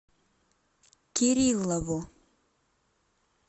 кириллову